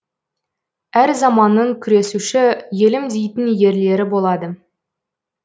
әр заманның күресуші елім дейтін ерлері болады